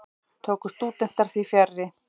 Tóku stúdentar því fjarri.